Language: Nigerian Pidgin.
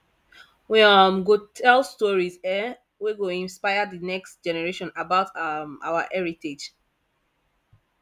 we um go tell stories um wey go inspire the next generation about um our heritage